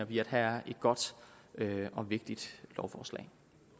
vi at have et godt og vigtigt lovforslag